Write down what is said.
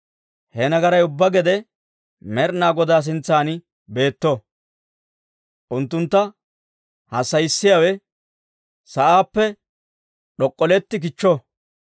He nagaray ubbaa gede Med'inaa Godaa sintsan beetto; unttuntta hassayissiyaawe sa'aappe d'ok'olletti kichcho!